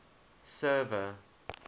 server